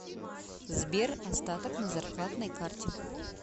сбер остаток на зарплатной карте